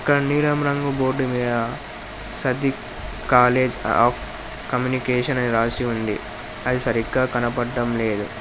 ఒక నీలం రంగు బోర్డు మీద సద్రుక్ కాలేజీ అఫ్ కమ్యూనికేషన్ అని రాసి ఉంది అది సరిగ్గా కనబడ్డం లేదు.